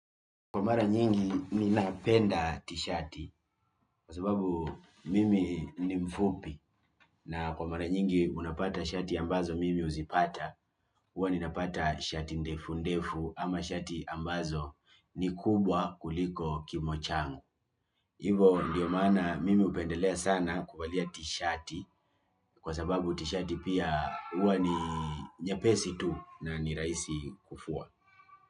Kwa mara nyingi mi napenda t-shati kwa sababu mimi ni mfupi na kwa mara nyingi unapata shati ambazo mimi uzipata. Huwa ninapata shati ndefu ndefu ama shati ambazo ni kubwa kuliko kimo changu. Hivo, ndiyo mana mimi hupendelea sana kuvalia t-shati kwa sababu t-shati pia huwa ni nyapesi tu na ni rahisi kufua.